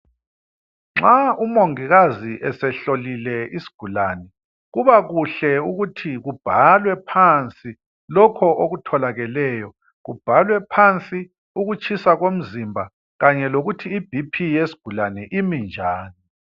Nxa umongikazi esehlolile isigulane kubakuhle ukuthi kubhalwe phansi lokho okutholakeleyo kubhalwe phansi ukutshisa komzimba kanye lokuthi iBP yesigulane imi njani